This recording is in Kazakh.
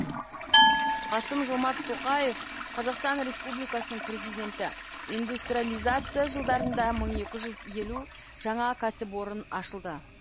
қасым жомарт тоқаев қазақстан республикасының президенті индустрализация жылдарында мың екі жүз елу жаңа кәсіпорын ашылды